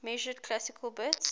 measured classical bits